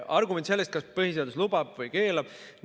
Argument, kas põhiseadus lubab või keelab.